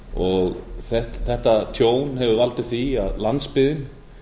og áratugum þetta tjón hefur valdið því að landsbyggðin